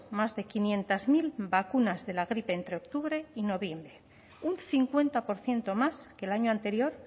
más de quinientos mil vacunas de la gripe entre octubre y noviembre un cincuenta por ciento más que el año anterior